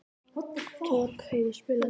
Torfheiður, spilaðu tónlist.